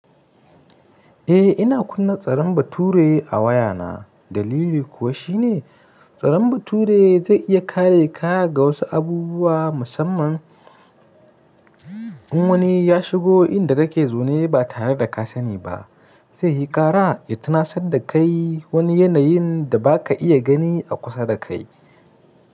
Eh ina kunna tsaron bature a wayana. Dalili kuwa shi ne tsaron bature zai iya kare ka ga wasu abubuwa musamman in wani ya shigo inda kake zo ne ba tare da ka sani ba. Zai yi kara ya tuna sadakai wani yanayin da ba ka iya gani a kusa da kai.